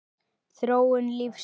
Þróun lífsins